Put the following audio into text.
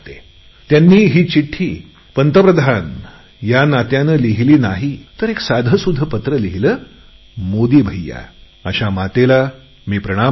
त्यांनी ही चिठ्ठी मला पंतप्रधान या नात्याने लिहिली नाही तर साधेसुधे पत्र लिहिले मोदी भैय्या अशा मातेला मी प्रणाम करतो